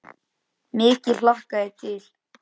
Mikið hlakka ég til.